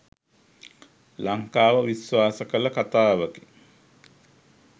ලංකාව විශ්වාස කළ කතාවකි.